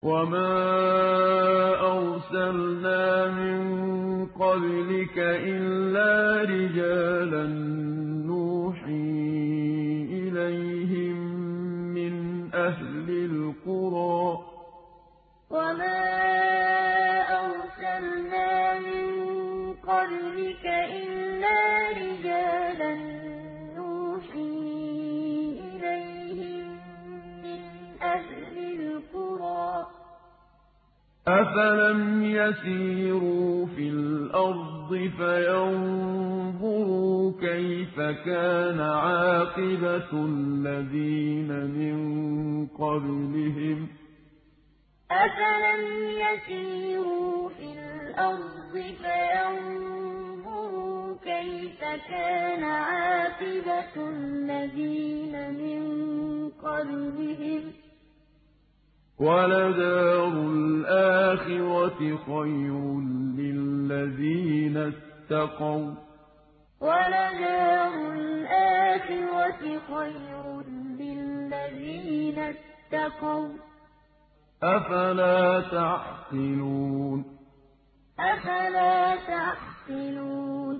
وَمَا أَرْسَلْنَا مِن قَبْلِكَ إِلَّا رِجَالًا نُّوحِي إِلَيْهِم مِّنْ أَهْلِ الْقُرَىٰ ۗ أَفَلَمْ يَسِيرُوا فِي الْأَرْضِ فَيَنظُرُوا كَيْفَ كَانَ عَاقِبَةُ الَّذِينَ مِن قَبْلِهِمْ ۗ وَلَدَارُ الْآخِرَةِ خَيْرٌ لِّلَّذِينَ اتَّقَوْا ۗ أَفَلَا تَعْقِلُونَ وَمَا أَرْسَلْنَا مِن قَبْلِكَ إِلَّا رِجَالًا نُّوحِي إِلَيْهِم مِّنْ أَهْلِ الْقُرَىٰ ۗ أَفَلَمْ يَسِيرُوا فِي الْأَرْضِ فَيَنظُرُوا كَيْفَ كَانَ عَاقِبَةُ الَّذِينَ مِن قَبْلِهِمْ ۗ وَلَدَارُ الْآخِرَةِ خَيْرٌ لِّلَّذِينَ اتَّقَوْا ۗ أَفَلَا تَعْقِلُونَ